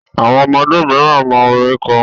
Àwọn ọmọdé miran mọ orin kọ